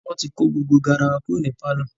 wọ́n ti kó gbogbo garawa kúrò ní pálọ̀.